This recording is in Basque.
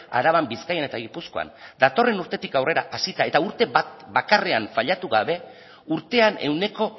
araban bizkaian eta gipuzkoan datorren urtetik aurrera hasita eta urte bat bakarrean fallatu gabe urtean ehuneko